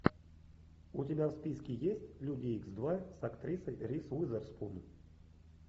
у тебя в списке есть люди икс два с актрисой риз уизерспун